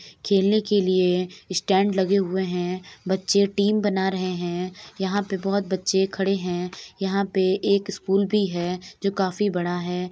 खेलने के लिए स्टैंड लगे हुए हैं। बच्चे टीम बना रहे हैं। यहां पर बहुत बच्चे खड़े हैं। यहां पर एक स्कूल भी है जो काफी बड़ा है।